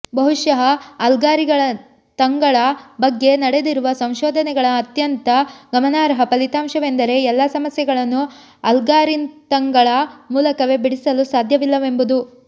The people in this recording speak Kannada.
ಬಹುಶಃ ಆಲ್ಗಾರಿತಂಗಳ ಬಗ್ಗೆ ನಡೆದಿರುವ ಸಂಶೋಧನೆಗಳ ಅತ್ಯಂತ ಗಮನಾರ್ಹ ಫಲಿತಾಂಶವೆಂದರೆ ಎಲ್ಲ ಸಮಸ್ಯೆಗಳನ್ನೂ ಆಲ್ಗಾರಿತಂಗಳ ಮೂಲಕವೇ ಬಿಡಿಸಲು ಸಾಧ್ಯವಿಲ್ಲವೆಂಬುದು